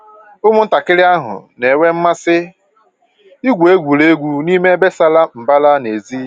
Ụmụntakịrị ahụ na-enwe mmasị igwu egwuregwu n'ime ebe sara mbara n'èzí